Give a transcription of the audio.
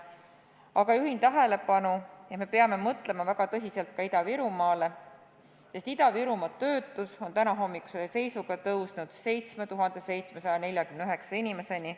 Aga juhin tähelepanu, et peame väga tõsiselt mõtlema ka Ida-Virumaale, sest Ida-Virumaa töötus on tänahommikuse seisuga kasvanud 7749 inimeseni.